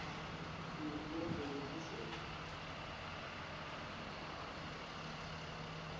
iyi ndi wa mveledziso na